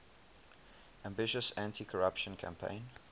ambitious anticorruption campaign